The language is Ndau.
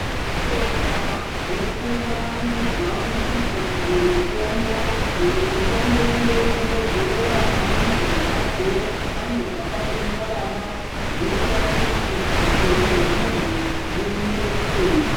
Tinotenda nekuvandudzwa kurikutwa dzimwe mutombo imwe mutombo ndeyekungozorera pane marwadzo panobva patonyarara zvinoita kuti upenyu hwemundu huendeke.